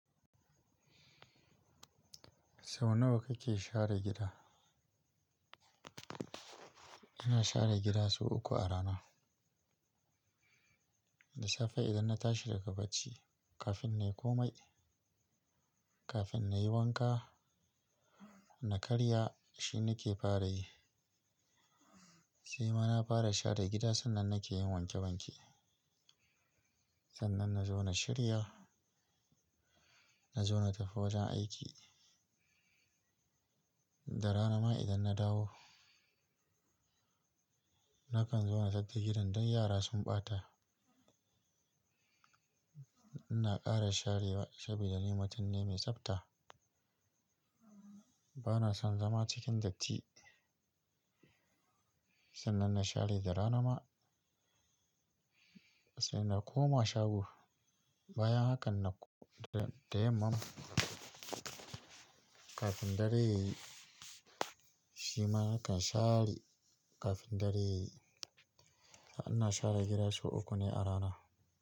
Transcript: Sau nawa kake share gida? Ina share gida sau uku a rana. Da safe idan na tashi daga bacci, kafin na yi komai, kafin na yi wanka na karya shine nake fara yi. Sai ma na fara share gida sannan na ke yin wanke wanke. Sannan na zo na shirya, na zo na tafi wajen aiki. Da rana ma idan na dawo, nakan zo na tsaftace gidan don yara sun ɓata. Ina ƙara sharewa shabi da nimutum ne mai tsafta. Bana son zama cikin datti. Sannan na share da rana ma, sai na koma shago. Bayan hakan na da, da yamma kafin dare yayi shima nakan share kafin dare yayi. Amma ina share gida sau uku ne a rana.